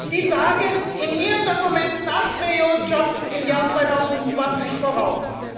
Sie sagen in Ihren Dokumenten 8 Millionen Jobs im Jahr 2020 voraus.